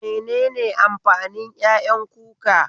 Menene amfanin ƴaƴan kuka?